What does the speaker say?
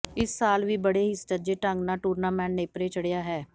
ਇਸ ਸਾਲ ਵੀ ਬੜੇ ਹੀ ਸੁਚੱਜੇ ਢੰਗ ਨਾਲ ਟੂਰਨਾਮੈਂਟ ਨੇਪਰੇ ਚੜਿਆ ਹੈ